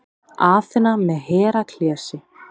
Aþena með Heraklesi.